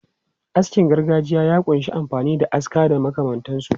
Askin gargajiya ya kunshi amfani da aska da makamantansu.